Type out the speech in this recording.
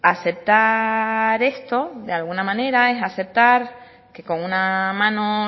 aceptar esto de alguna manera es aceptar que con una mano